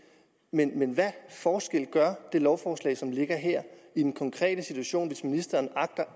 men hvad forskel gør det lovforslag som ligger her i den konkrete situation hvis ministeren